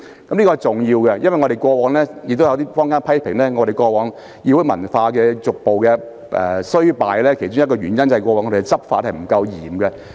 這是重要的舉措，因為坊間批評立法會議會文化逐步衰敗的其中一個原因，在於過往執法不嚴。